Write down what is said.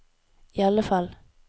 iallfall